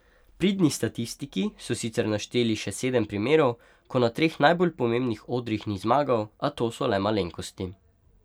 Pridni statistiki so sicer našteli še sedem primerov, ko na treh najbolj pomembnih odrih ni zmagal, a to so le malenkosti.